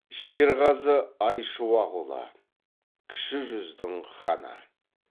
шерғазы айшуақұлы кіші жүздің ханы